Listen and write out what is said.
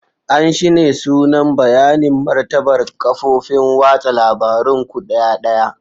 An shine sunan bayanin martabar kafofin watsa labarun ku ɗaya ɗaya.